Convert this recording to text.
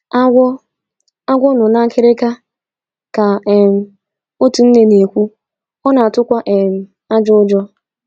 “ Agwọ “ Agwọ nọ n’akịrịka, ” ka um otu nne na - ekwu, “ ọ na -atukwa um ajọ ụjọ. ”